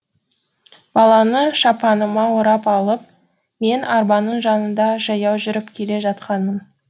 баланы шапаныма орап алып мен арбаның жанында жаяу жүріп келе жатқанмын